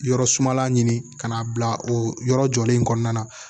Yɔrɔ sumala ɲini ka n'a bila o yɔrɔ jɔlen in kɔnɔna na